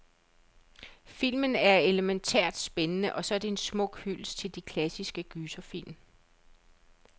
Filmen er elemæntært spændende, og så er den en smuk hyldest til de klassiske gyserfilm.